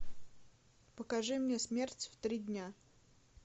покажи мне смерть в три дня